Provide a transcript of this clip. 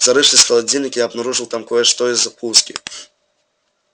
зарывшись в холодильник я обнаружил там кое-что из закуски